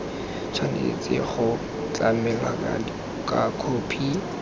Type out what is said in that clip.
tshwanetse go tlamelwa ka khophi